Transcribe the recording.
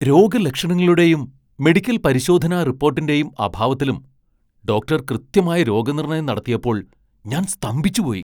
രോഗലക്ഷണങ്ങളുടെയും medical പരിശോധനാ റിപ്പോട്ടിന്റെയും അഭാവത്തിലും ഡോക്ടർ കൃത്യമായ രോഗനിർണയം നടത്തിയപ്പോൾ ഞാൻ സ്തംഭിച്ചുപോയി!